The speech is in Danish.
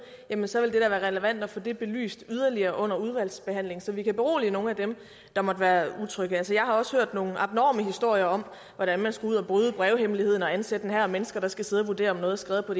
jamen så vil det da være relevant at få det belyst yderligere under udvalgsbehandlingen så vi kan berolige nogle af dem der måtte være utrygge altså jeg har også hørt nogle abnorme historier om hvordan man skal ud og bryde brevhemmeligheden og ansætte en hær af mennesker der skal sidde og vurdere om noget er skrevet på